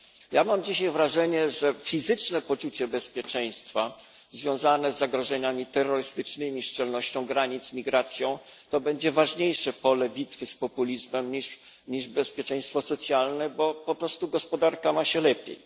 Ja mam dzisiaj wrażenie, że fizyczne poczucie bezpieczeństwa związane z zagrożeniami terrorystycznymi, szczelnością granic i migracją będzie ważniejszym polem bitwy z populizmem niż bezpieczeństwo socjalne, bo po prostu gospodarka ma się lepiej.